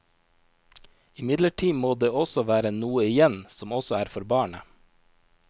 Imidlertid må det også være noe igjen som også er for barnet.